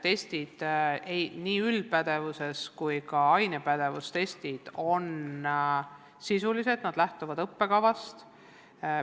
Testid, nii üldise pädevuse kui ka ainepädevuse testid, on sisulised ja lähtuvad õppekavast.